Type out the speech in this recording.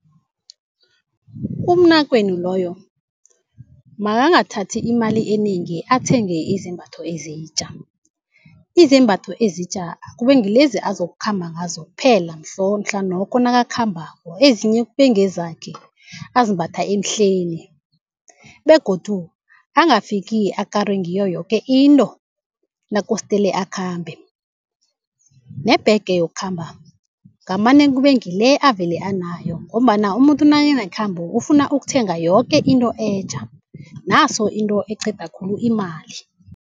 Umnakwenu loyo makangathathi imali enengi athenge izembatho ezitja, izembatho ezitja akube ngilezi azokhamba ngazo kuphela mhlanokho nakakhambako, ezinye kube ngezakhe azimbatha emhleni begodu angafiki akarwe ngiyo yoke into nakosdele akhambe. Nebhege yokukhamba ngamane kube ngile avele anayo ngombana umuntu nakanekhambo ufuna ukuthenga yoke into etja, naso into eqeda khulu imali.